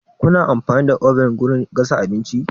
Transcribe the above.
Kuna amfani da oven wurin gasa abinci?